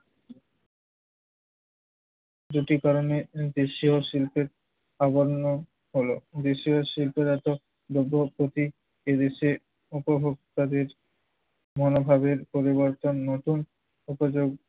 দুটি কারণে দেশীয় শিল্পের প্রাধান্য হলো। দেশীয় শিল্পের এত ভোগ্য প্রতি এদেশের উপ ভোক্তাদের মনোভাবের পরিবর্তন নতুন উপযোগ